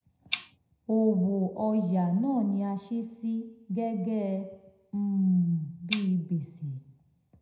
owó ọ̀yà náà ni a sì sí gẹ́gẹ́ um bí gbèsè.